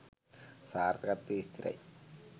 සාර්ථකත්වය ස්ථිරයි.